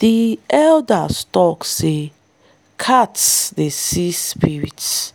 the elders tok say cats dey see spirits